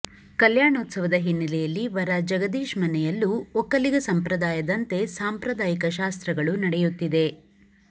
ಕಲ್ಯಾಣೋತ್ಸವದ ಹಿನ್ನೆಲೆಯಲ್ಲಿ ವರ ಜಗದೀಶ್ ಮನೆಯಲ್ಲೂ ಒಕ್ಕಲಿಗ ಸಂಪ್ರದಾಯದಂತೆ ಸಾಂಪ್ರದಾಯಿಕ ಶಾಸ್ತ್ರಗಳು ನಡೆಯುತ್ತಿದೆ